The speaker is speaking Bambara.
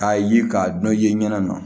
K'a ye k'a dɔ ye ɲɛna